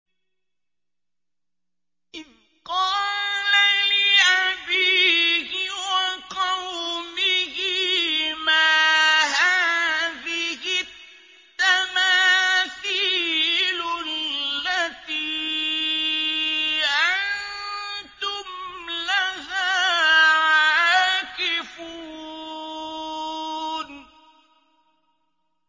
إِذْ قَالَ لِأَبِيهِ وَقَوْمِهِ مَا هَٰذِهِ التَّمَاثِيلُ الَّتِي أَنتُمْ لَهَا عَاكِفُونَ